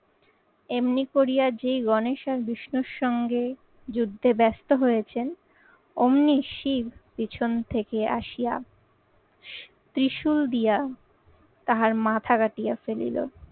এমনি করিয়া যেই গণেশ আর বিষ্ণুর সঙ্গে যুদ্ধে ব্যস্ত হয়েছেন অমনি শিব পিছন থেকে আসিয়া ত্রিশূল দিয়া তাহার মাথা কাটিয়া ফেলিলো।